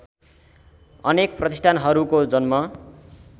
अनेक प्रतिष्ठानहरूको जन्म